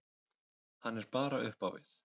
Hann er bara upp á við.